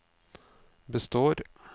består